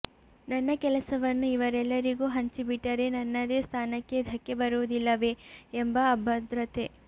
ನನ್ನ ಕೆಲಸವನ್ನು ಇವರೆಲ್ಲರಿಗೂ ಹಂಚಿಬಿಟ್ಟರೆ ನನ್ನದೇ ಸ್ಥಾನಕ್ಕೆ ಧಕ್ಕೆ ಬರುವುದಿಲ್ಲವೇ ಎಂಬ ಅಭದ್ರತೆ